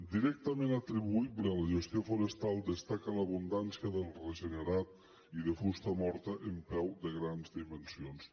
directament atribuïble a la gestió forestal destaca l’abundància del regenerat i de fusta morta en peu de grans dimensions